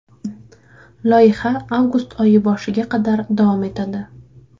Loyiha avgust oyi boshiga qadar davom etadi.